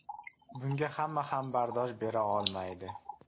Bunga hamma ham bardosh bera olmaydi.